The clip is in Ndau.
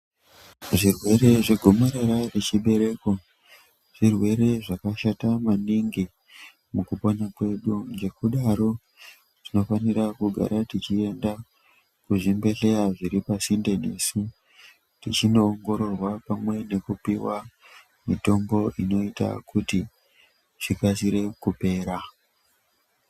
Zvirwere zvegomarara rechibereko zvirwere zvakashata maningi mukupona kwedu. Ngekudaro tinofanira kugara tichienda kuzvibhedhleya zviri pasinde nesu tichinoongororwa pamwe nekupiwa mitombo inoita kuti chikasire kupera.